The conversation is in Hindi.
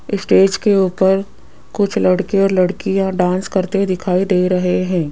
स्टेज के ऊपर कुछ लड़के और लड़कियां डांस करते दिखाई दे रहे हैं।